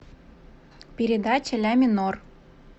передача ля минор